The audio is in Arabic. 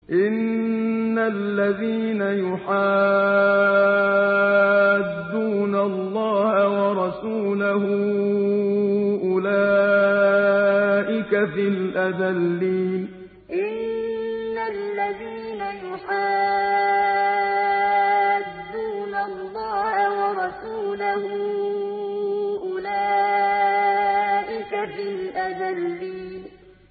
إِنَّ الَّذِينَ يُحَادُّونَ اللَّهَ وَرَسُولَهُ أُولَٰئِكَ فِي الْأَذَلِّينَ إِنَّ الَّذِينَ يُحَادُّونَ اللَّهَ وَرَسُولَهُ أُولَٰئِكَ فِي الْأَذَلِّينَ